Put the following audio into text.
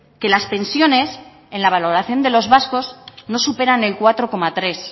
que las pensiones en la valoración de los vascos no superan el cuatro coma tres